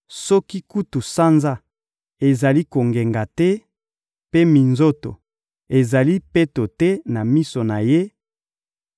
Soki kutu sanza ezali kongenga te, mpe minzoto ezali peto te, na miso na Ye,